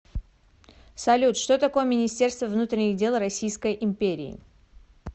салют что такое министерство внутренних дел российской империи